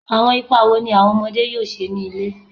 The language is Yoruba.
Awọn ipa wo ni awọn ọmọde yoo ṣe ni ile?